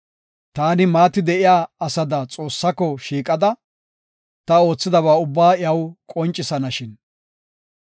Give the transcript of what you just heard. Taani maati de7iya asada xoossaako shiiqada, ta oothidaba ubbaa iyaw qoncisanashin!